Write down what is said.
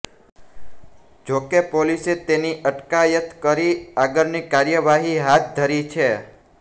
જોકે પોલીસે તેની અટકાયત કરી આગળની કાર્યવાહી હાથ ધરી છે